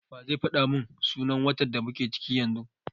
Wa zai faɗa mun sunan watan da muke ciki yanzu?